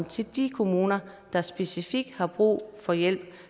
til de kommuner der specifikt har brug for hjælp og